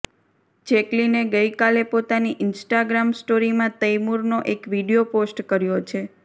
જેક્લીને ગઈકાલે પોતાની ઈન્સટાગ્રામ સ્ટોરીમાં તૈમૂરનો એક વીડિયો પોસ્ટ કર્યો છે